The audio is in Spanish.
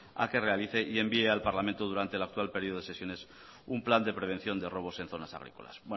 a que realice y envíe al parlamento durante el actual periodo de sesiones un plan de prevención de robos en zonas agrícolas